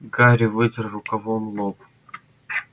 гарри вытер рукавом лоб